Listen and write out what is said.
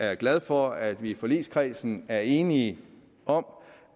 jeg glad for at vi i forligskredsen er enige om